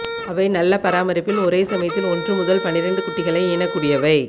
அவை நல்ல பராமரிப்பில் ஒரே சமயத்தில் ஒன்று முதல் பனிரெண்டு குட்டிகளை ஈனக்கூடியவை